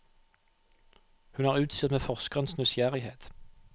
Hun er utstyrt med forskerens nysgjerrighet.